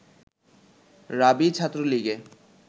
রাবি ছাত্রলীগে